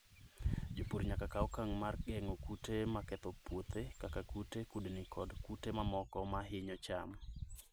Jopur nyaka kaw okang' mar geng'o kute ma ketho puothe kaka kute, kudni, kod kute mamoko ma hinyo cham.